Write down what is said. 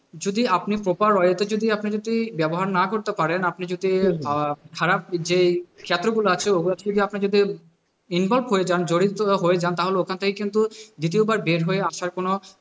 যদি আপনি proper way তে আপনি যদি ব্যবহার না করতে পারেন আপনি যদি খারাপ যে আছে জড়িত হয়ে যান তাহলে ওখান থেকে কিন্তু দ্বিতীয়বার বের হয়ে আসার কোনো,